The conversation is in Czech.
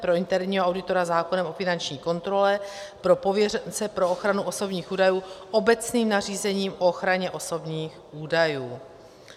Pro interního auditora zákonem o finanční kontrole, pro pověřence pro ochranu osobních údajů obecným nařízením o ochraně osobních údajů.